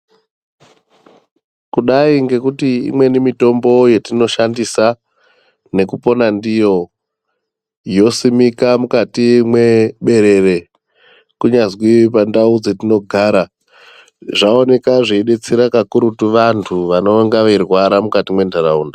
Kudai ngekuti imweni mitombo yetinoshandisa nekupona ndiyo yosimika mukati mweberere kunyazwi pandau petinogara zvaaoneka zveidetsera kakurutu vantu vanonga veirwara mukati mwentaraunda.